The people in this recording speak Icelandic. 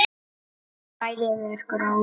Svæðið er gróið.